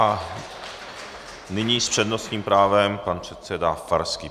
A nyní s přednostním právem pan předseda Farský.